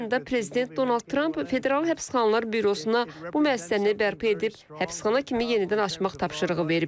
May ayında prezident Donald Tramp Federal Həbsxanalar Bürosuna bu müəssisəni bərpa edib həbsxana kimi yenidən açmaq tapşırığı verib.